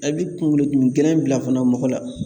A bi kunkolodimi gɛlɛn bila fana mɔgɔ la